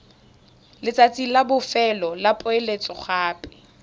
letsatsi la bofelo la poeletsogape